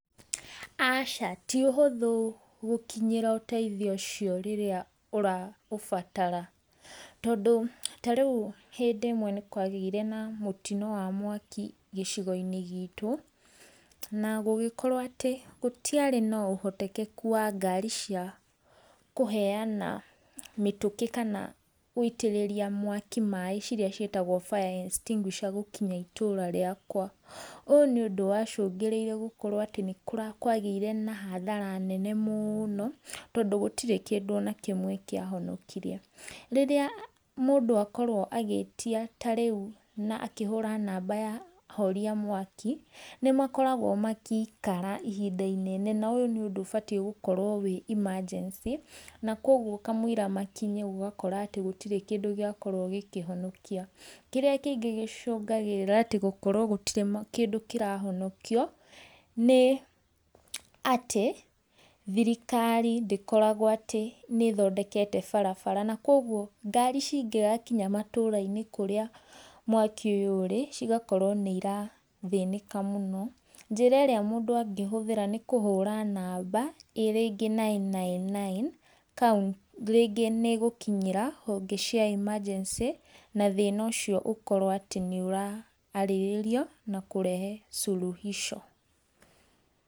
Aca ti ũhũthũ gũkinyĩra ũteithio ũcio rĩrĩa ũraũbatara, tondũ ta rĩu hindĩ ĩmwe nĩ kwagĩire na mũtino wa mwaki gĩcigo-inĩ gitũ, na gũgĩkorwo atĩ gũtiarĩ na ũhotekeku wa ngari cia kũheana mĩtũkĩ kana gũitĩrĩria mwaki maĩ ciria ciĩtagwo fire extinguisher gũkinya itũra rĩakwa. Ũũ nĩ ũndũ wa cũngĩrĩire gũkorwo atĩ nĩ kwagĩire na hathara nene mũno, tondũ gũtirĩ kĩndũ ona kĩmwe kĩahonokire. Rĩrĩa mũndũ akorwo agĩĩtia ta rĩu na akĩhũra namba ya ahoria a mwaki, nĩ makoragwo magĩikara ihinda inene na ũyũ nĩ ũndũ ubatie gũkorwo wĩ emergency, na koguo kamũira makinye ũgakora atĩ gũtirĩ kĩndũ gĩakorwo gĩkĩhonokio. Kĩrĩa kĩingĩ gĩcũngagĩrĩra atĩ gũkorwo gũtirĩ kĩndũ kĩrahonokio, nĩ atĩ thirikari ndĩkoragwo atĩ nĩ ĩthondekete barabara, na koguo ngari cingĩgakinya matũra-inĩ kũrĩa mwaki ũyũ ũrĩ, cigakorwo nĩ irathĩnĩka mũno. Njĩra ĩrĩa mũndũ angĩhũthĩra nĩ kũhũra namba ĩ rĩngĩ nine nine nine rĩngĩ nĩ ĩgũkinyĩra honge cia emergency na thĩna ũcio ũkorwo nĩ ũra arĩrĩrio na kũrehe suluhisho.